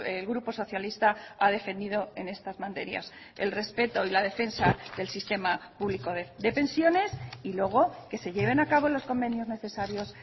el grupo socialista ha defendido en estas materias el respeto y la defensa del sistema público de pensiones y luego que se lleven a cabo los convenios necesarios